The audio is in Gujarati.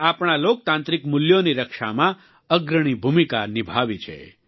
એ આપણા લોકતાંત્રિક મૂલ્યોની રક્ષામાં અગ્રણી ભૂમિકા નિભાવી છે